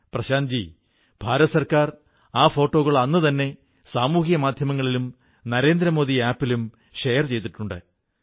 പ്രശാന്ത്ജീ കേന്ദ്ര ഗവൺമെന്റ് ആ ഫോട്ടോകൾ അന്നുതന്നെ സാമൂഹിക മാധ്യമങ്ങളിലും നരേന്ദ്രമോദി ആപ് ലും ഷെയർ ചെയ്തിട്ടുണ്ട്